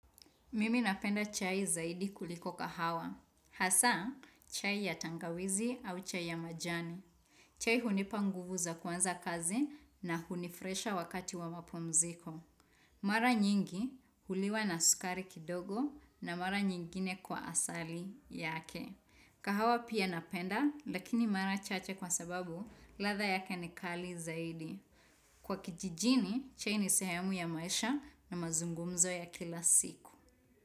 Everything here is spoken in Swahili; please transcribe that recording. Mimi napenda chai zaidi kuliko kahawa. Hasa, chai ya tangawizi au chai ya majani. Chai hunipa nguvu za kuanza kazi na hunifurahisha wakati wa mapumziko. Mara nyingi huliwa na sukari kidogo na mara nyingine kwa asali yake. Kahawa pia napenda lakini mara chache kwa sababu ladha yake ni kali zaidi. Kwa kijijini, chai ni sehemu ya maisha na mazungumzo ya kila siku.